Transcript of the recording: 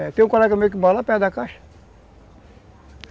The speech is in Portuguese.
É, tem um colega meu que mora lá perto da caixa.